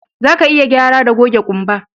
Zaka iya gyara da goge kumba